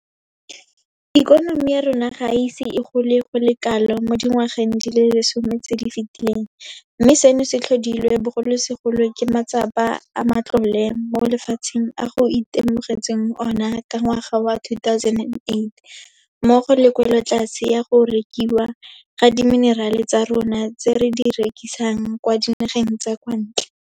Ikonomi ya rona ga e ise e gole go le kalo mo dingwageng di le lesome tse di fetileng, mme seno se tlhodilwe bogolosegolo ke matsapa a matlole mo lefatsheng a go itemogetsweng ona ka ngwaga wa 2008 mmogo le kwelotlase ya go rekiwa ga dimenerale tsa rona tse re di rekisang kwa dinageng tsa kwa ntle.